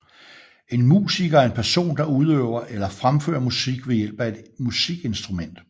En musiker er en person der udøver eller fremfører musik ved hjælp af et musikinstrument